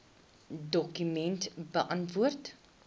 dokument beantwoord